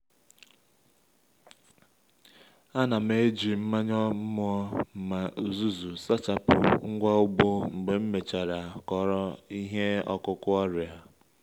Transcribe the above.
a na m eji mmanya mmọ na uzuzu sachapụ ngwa ugbo mgbe m mechara kọrọ ihe ọkụkụ ọrịa